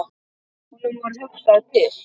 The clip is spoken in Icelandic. Honum varð hugsað til